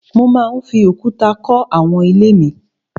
Mo máa fi òkúta kọ́ àwọn ilé mi